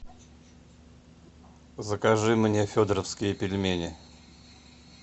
закажи мне федоровские пельмени